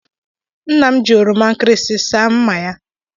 Nna m ji oroma nkịrịsị saa mma ya.